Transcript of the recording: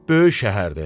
Böyük şəhərdir.